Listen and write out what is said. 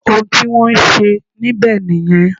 Òun tí wọ́n ń ṣe níbẹ̀ nìyẹn